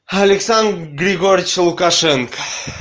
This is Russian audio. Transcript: александр григорьевич лукашенко